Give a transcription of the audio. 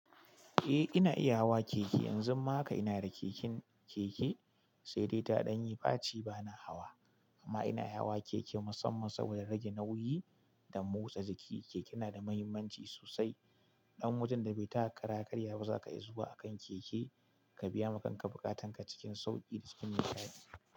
Eh ina iya hawa keke, yanzu ma haka ina da keken keke, sai dai ta ɗan yi faci bana hawa. Amma ina iya hawa keke musamman saboda rage nauyi da motsa jiki. Keke na da muhimmanci sosai ɗan wajen da bai taka kara ya karya ba za ka iya zuwa akan keke ka biya ma kanka buƙatanka cikin sauƙi da cikin nishaɗi.